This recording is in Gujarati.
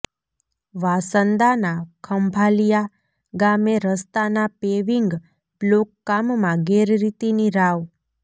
વાંસદાના ખંભાલિયા ગામે રસ્તાના પેવિંગ બ્લોક કામમાં ગેરરીતિની રાવ